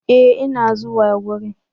E! ina zuwa gurin.